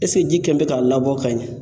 ji kɛlen bɛ ka labɔ ka ɲɛ?